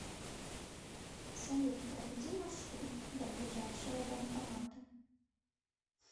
салют проведи маршрут до ближайшего банкомата